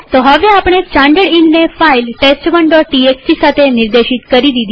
તો હવે આપણે સ્ટાનડર્ડઈનને ફાઈલ test1ટીએક્સટી સાથે નિર્દેશિત કરી દીધી છે